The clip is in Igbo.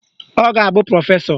Ọ ga-abụ prọfesọ